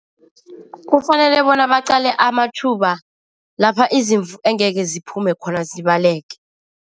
Kufanele bona baqale amatjhuba lapha izimvu engeke ziphume khona zibaleke.